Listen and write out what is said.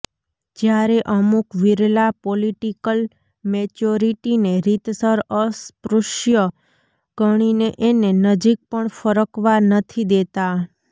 જ્યારે અમુક વીરલા પોલિટિકલ મેચ્યોરિટીને રીતસર અસ્પૃશ્ય ગણીને એને નજીક પણ ફરકવા નથી દેતા